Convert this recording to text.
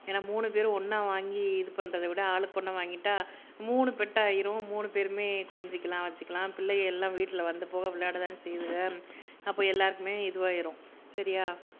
என்ன மூணுபேரும் ஒன்னா வாங்கி இது பண்றதை விட ஆளுக்கு ஒன்னா வாங்கிட்டா மூணு பெட் ஆயிரும் மூணுபேருமே கொஞ்சிக்கலாம் வச்சுக்கலாம் பிள்ளைக எல்லாம் வீட்ல வந்துபோக விளையாடதான செய்யுதுக அப்போ எல்லாருக்குமே இதுவாயிரும் சரியா